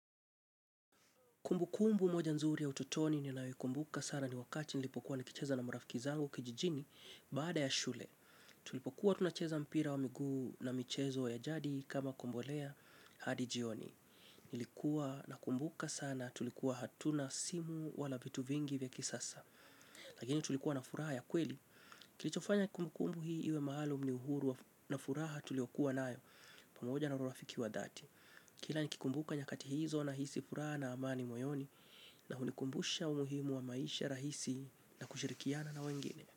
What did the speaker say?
Kumbu kumbu moja nzuri ya ututoni ninaikumbuka sana ni wakati nilipokuwa nikicheza na marafiki zangu kijijini baada ya shule. Tulipokuwa tunacheza mpira wa miguu na michezo ya jadi kama kombolea hadi jioni. Nilikuwa na kumbuka sana tulikuwa hatuna simu wala vitu vingi vya kisasa. Lakini tulikuwa na furaha ya kweli. Kilichofanya kumbu kumbu hii iwe mahalum ni uhuru na furaha tulio kuwa nayo. Pamoja na urafiki wa dhati. Kila nikikumbuka nyakati hizo nahisi fura na amani moyoni. Na unikumbusha umuhimu wa maisha rahisi na kushirikiana na wengine.